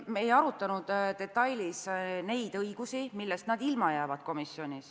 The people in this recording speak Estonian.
Me ei arutanud komisjonis detailidena õigusi, millest nad ilma jäävad.